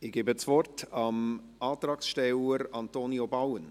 Ich gebe das Wort dem Antragsteller Antonio Bauen.